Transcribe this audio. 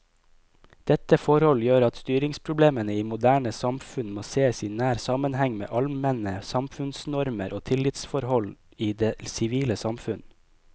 Dette forhold gjør at styringsproblemene i moderne samfunn må sees i nær sammenheng med allmenne samfunnsnormer og tillitsforhold i det sivile samfunn.